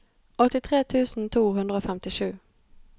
åttitre tusen to hundre og femtisju